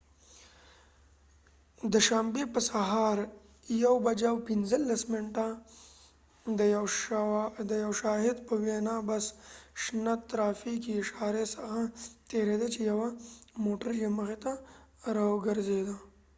د شنبی په سهار 1:15 بچې د یو شاهد په وينا بس د شنه ترافیکې اشاری څخه تیریده چې یوه موټر یې مخی ته راوګرځیده